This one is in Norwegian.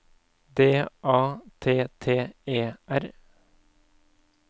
D A T T E R